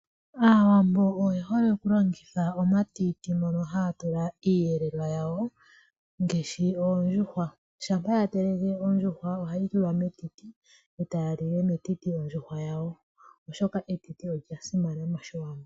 Aawambo oye hole okulongitha omatiti ngono haya tula iiyelelwa yawo ngaashi oondjuhwa. Shampa ya teleke ondjuhwa ohaye yitula metiti oshoka etiti olya simana moshiwambo.